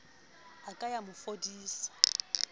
a ka ya mo fodisa